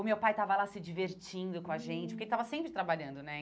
O meu pai estava lá se divertindo com a gente, hum porque ele estava sempre trabalhando, né?